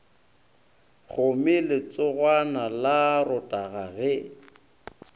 kgome letsogwana la rotara ge